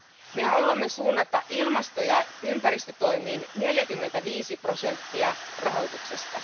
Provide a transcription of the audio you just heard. Me haluamme suunnata ilmasto ja ympäristötoimiin 45 prosenttia rahoituksesta.